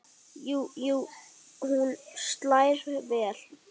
Jú jú, hún slær vel!